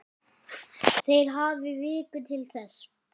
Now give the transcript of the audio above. Þeir hafi viku til þess.